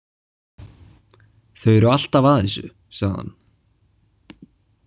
Þeir eru alltaf að þessu, sagði hann.